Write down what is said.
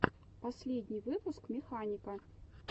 последний выпуск механика